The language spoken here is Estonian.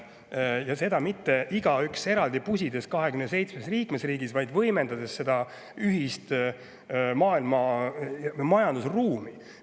–, ja seda mitte igaüks, 27 liikmesriiki eraldi pusides, vaid võimendades ühist maailma majandusruumi.